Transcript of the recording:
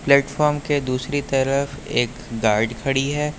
Platform के दूसरी तरफ एक गाड़ी खड़ी है।